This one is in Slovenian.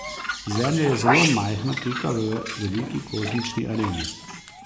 Zemlja je zelo majhna pika v veliki kozmični areni.